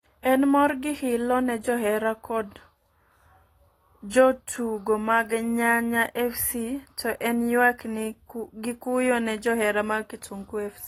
En mor gi hilo ne johera kod go tugo mag Nyanya fc to en nywak gi kuyo ne johera mar kitungu f.c